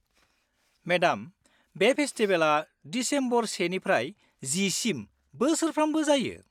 Madam, बे फेस्टिबेला December सेनिफ्राय जिसिम बोसोरफ्रामबो जायो।